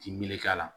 K'i meleke a la